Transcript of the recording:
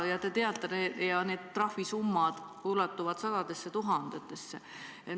Te teate, need trahvisummad ulatuvad sadadesse tuhandetesse.